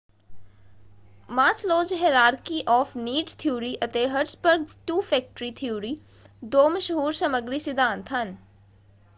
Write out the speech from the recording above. Maslow's hierarchy of needs theory ਅਤੇ Herzberg's two factor theory ਦੋ ਮਸ਼ਹੂਰ ਸਮੱਗਰੀ ਸਿਧਾਂਤ ਹਨ।